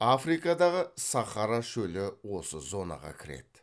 африкадагы сахара шөлі осы зонаға кіреді